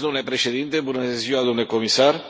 Domnule Președinte, domnule comisar,